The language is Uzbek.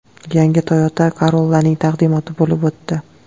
Yangi Toyota Corolla’ning taqdimoti bo‘lib o‘tdi.